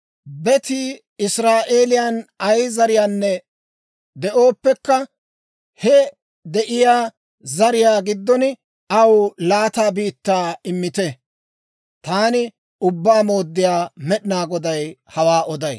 Betii Israa'eeliyaan ay zariyaanna de'ooppekka, he I de'iyaa zariyaa giddon aw laata biittaa immite. Taani Ubbaa Mooddiyaa Med'inaa Goday hawaa oday.